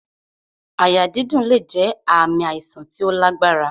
Àyà dídùn lè jẹ ààmì àìsàn tí ó lágbára